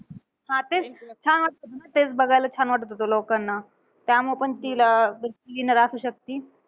हा तेच. हा हा तेच छान वाटतं होतं. तेच बघायला छान वाटतं होतं लोकांना. त्यामुळं पण तिला ती winner असू शकती.